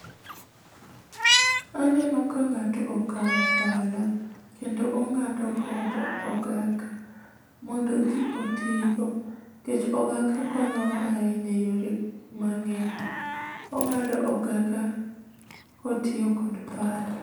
Aneno ka ng'ato okawo pala kendo ong'ado godo okaka, mondo odhi otigo. Nikech okaka konyowa ahinya eyore mang'eny. Ong'ado okaka kotiyo kod pala.